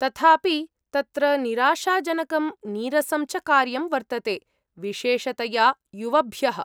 तथापि, तत्र निराशाजनकं नीरसं च कार्यं वर्तते, विशेषतया युवभ्यः।